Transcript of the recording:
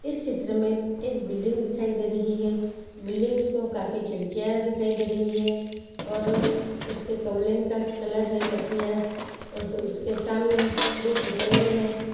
इस चित्र में एक बिल्डिंग दिखाई दे रही है बिल्डिंग को काफी खिड़कियां दिखाई दे रहीं हैं और उसके कवलींग का कलर है कतिया उस- उसके सामने दो पुतले हैं।